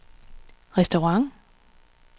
restaurant